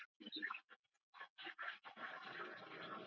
Vonandi gengur það eftir.